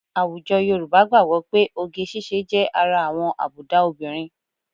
Àwùjọ Yorùbá gbàgbọ́ pé oge ṣíṣe jẹ́ ara àwọn àbùdá obìnrin